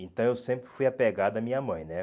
Então eu sempre fui apegado à minha mãe, né?